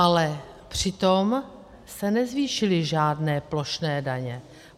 Ale přitom se nezvýšily žádné plošné daně.